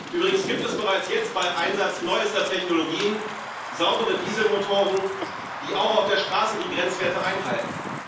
Übrigens gibt es bereits jetzt bei Einsatz neuester Technologien saubere Dieselmotoren, die auch auf der Straße die Grenzwerte einhalten.